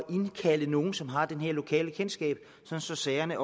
indkalde nogen som har det her lokalkendskab så sagerne